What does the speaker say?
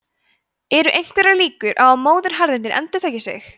eru einhverjar líkur á að móðuharðindin endurtaki sig